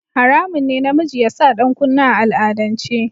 Haramun ne namiji ya sa ɗankunne a al'adance.